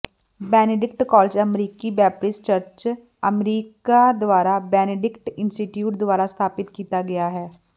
Benedict college ਅਮਰੀਕੀ Baptist church America ਦੁਆਰਾ Benedict institute ਦੁਆਰਾ ਸਥਾਪਤ ਕੀਤਾ ਗਿਆ ਹੈ